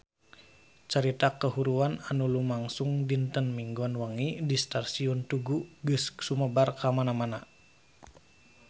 Carita kahuruan anu lumangsung dinten Minggon wengi di Stasiun Tugu geus sumebar kamana-mana